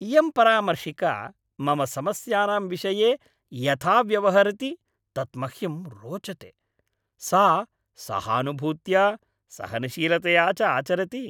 इयं परामर्शिका मम समस्यानां विषये यथा व्यवहरति तत् मह्यं रोचते। सा सहानुभूत्या, सहनशीलतया च आचरति।